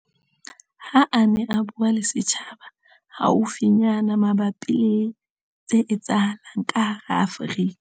Ha a ne a bua le setjhaba haufinyana mabapi le tse etsahalang ka hara Afrika